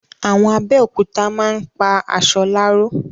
Àwọn Abẹ́òkúta máa ń pa aṣọ láró